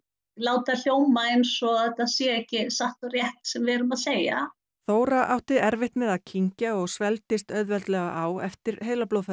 láta hljóma eins og þetta sé ekki satt og rétt sem við erum að segja Þóra átti erfitt með að kyngja og svelgdist auðveldlega á eftir